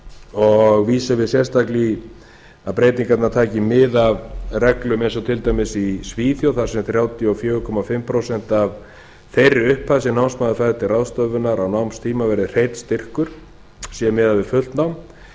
og vísa ég sérstaklega í að breytingarnar taki mið af reglum eins og til dæmis í svíþjóð þar sem þrjátíu og fjögur og hálft prósent af þeirri upphæð sem námsmaður fær til ráðstöfunar á námstíma verði hreinn styrkur sé miðað við fullt nám